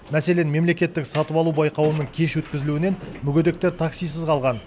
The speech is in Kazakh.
мәселен мемлекеттік сатып алу байқауының кеш өткізілуінен мүгедектер таксисіз қалған